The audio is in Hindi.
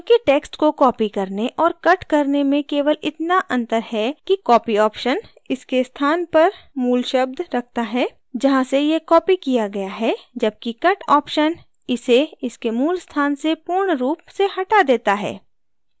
चूँकि text को copy करने और cut करने में केवल इतना अंतर है कि copy option इसके स्थान पर मूल शब्द रखता है जहाँ से यह copy किया गया है जबकि cut option इसे इसके मूल स्थान से पूर्णरूप से हटा देता है